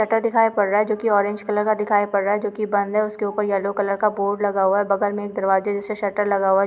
Shutter दिखाई पड़ रहा है जो की ऑरेंज कलर का दिखाई पड़ रहा है जो की बंद है। उसके ऊपर येलो कलर का बोर्ड लगा हुआ है। बगल में दरवाजे जैसा शटर लगा हुआ है।